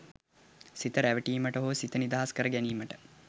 සිත රැවටීමට හෝ සිත නිදහස් කරගැනීමට